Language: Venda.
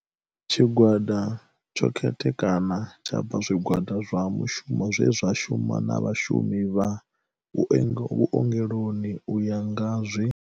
Tshi gwada tsho khethekana tsha bva zwi gwada zwa mushumo zwe zwa shuma na vhashumi vha vhuongeloni u ya nga zwi.